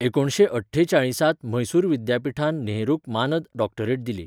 एकुणशे अठ्ठेचाळीस त म्हैसूर विद्यापीठान नेहरूक मानद डॉक्टरेट दिली.